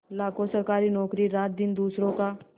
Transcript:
लाखों सरकारी नौकर रातदिन दूसरों का